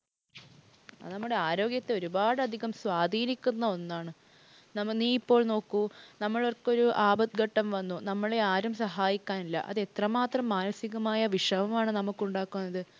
അത് നമ്മുടെ ആരോഗ്യത്തെ ഒരുപാടധികം സ്വാധീനിക്കുന്ന ഒന്നാണ്. നീ ഇപ്പോള്‍ നോക്കൂ, നമ്മൾക്ക് ഒരു ആപത്ഘട്ടം വന്നു നമ്മളെ ആരും സഹായിക്കാനില്ല. അത് എത്രമാത്രം മാനസികമായ വിഷമമാണ് നമുക്കുണ്ടാക്കുന്നത്.